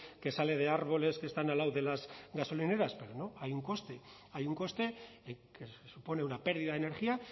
que sale de árboles que están al lado de las gasolineras pero no hay un coste hay un coste que supone una pérdida de energía